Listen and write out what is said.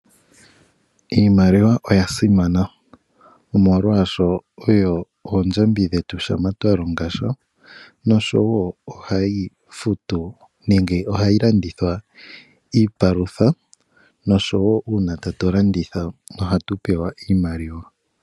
Iimaliwa oya simana, molwaashoka oyo oondjodhi dhetu shampa twa longa sha noshowo ohayi futu nenge ohayi landithwa iipalutha noshowo uuna tatu landitha ohatu pewa iimaliwa.